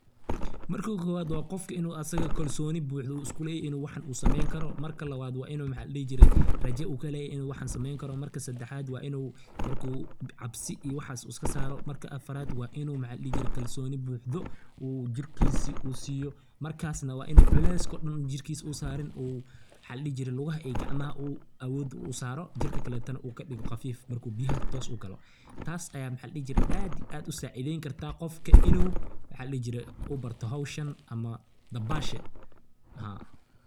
Marka kowad wa gofka inu asaga kalsoni buxda iskuleey inu waxan u sameykaro, marka lawad wa inu maxa ladixijire raaja u kaleye inu waxan kameynkaro, marka sadaxad wa inu marku cabsi iyo waxas iskasaro, mara afarad wa inu maxa ladixijire kalsoni buxdo uu jirkisii u siyo, markas wa inu culeska oo daan jirkis u sariin, uu maxa ladixijire lugah iyo gacmaha oo awood u saro, jirka kaletana uu kadigo qafiif, marku biyaha toos ugalo, taas aya maxa ladixijire aad iyo aad usacideynkarta gofka inu maxa ladixijire inu barto xowshaan ama dabashan haa.